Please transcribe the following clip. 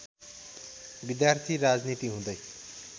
विद्यार्थी राजनीति हुँदै